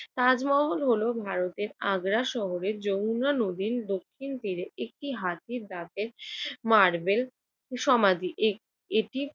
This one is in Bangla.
তাজমহল হলো ভারতের আগ্রা শহরের যমুনা নদীর দক্ষিণে তীরে একটি হাতির দাঁতের মার্বেল সমাধি। এ~ এটি